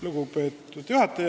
Lugupeetud juhataja!